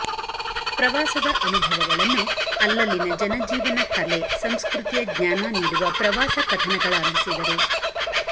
ಪ್ರವಾಸದ ಅನುಭವಗಳನ್ನು ಅಲ್ಲಲ್ಲಿನ ಜನಜೀವನ ಕಲೆ ಸಂಸಕೃತಿಯ ಜ್ಞಾನ ನೀಡುವ ಪ್ರವಾಸ ಕಥನಗಳಾಗಿಸಿದರು